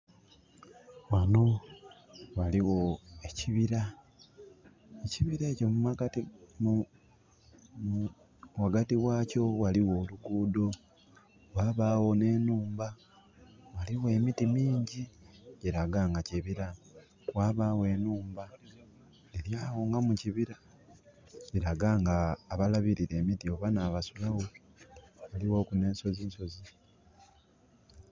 Ghano ghaligho ekibira. Ekibira ekyo mumakati...ghagati ghakyo ghaligho oluguudho. Ghabagho nh'enhumba. Ghaligho emiti mingyi, kiraga nga kibira. Ghabagho enhumba eli agho nga mukibira. Kilaga nga abalabirira emiti oba n'abasulawo. Ghaligho ku nh'ensozisozi.